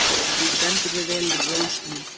Þú stendur þig vel, Rósný!